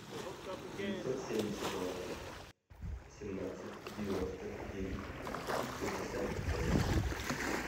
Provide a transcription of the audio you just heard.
девятьсот семьдесят два семнадцать девяносто девять шестьдесят пять